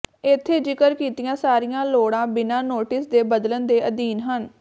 ਇੱਥੇ ਜ਼ਿਕਰ ਕੀਤੀਆਂ ਸਾਰੀਆਂ ਲੋੜਾਂ ਬਿਨਾਂ ਨੋਟਿਸ ਦੇ ਬਦਲਣ ਦੇ ਅਧੀਨ ਹਨ